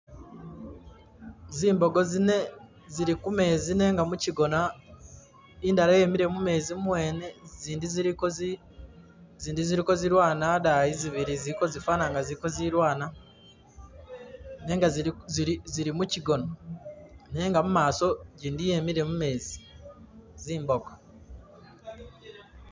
Zimbogo zine zili kumezi nenga mukigona, indala yemile mumezi muwene, zindi ziliko zi zindi ziliko zilwana adayi zibili ziliko zifana nga zili ka zilwana, nenga zili zili mukigona. Nenga mumaso gindi yemile mumezi, zi mbogo.